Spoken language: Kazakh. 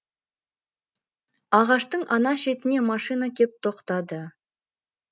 ағаштың ана шетіне машина кеп тоқтады